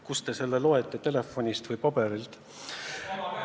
Kust te selle loete, telefonist või paberilt?